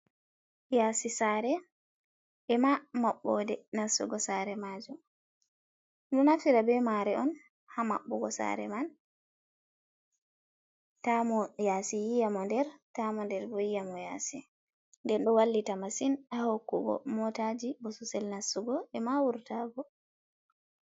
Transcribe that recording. Yasi sare ema maɓɓo de nastugo sare majum. Ɗum ɗo naftira be mare on ha maɓɓugo sare man ta mo yasi yi, a mo nder, ta mo nder bo yi, a mo yasi. Nden ɗo wallita masin ha hokku go motaji bososel nastugo, ema wurtago.